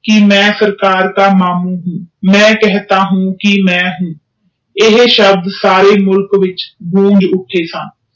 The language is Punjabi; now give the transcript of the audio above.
ਕਿ ਮੈਂ ਸਰਕਾਰ ਦਾ ਮਈ ਕਿਸੇ ਦਾਕਹਿੰਤਾ ਹੂ ਕਿ ਮਵਿੰ ਇਹ ਸ਼ਾਹਬਾਦ ਸਾਰੇ ਮੁਲਕ ਵਿਚ ਗੁੰਝ ਉ ਸਨ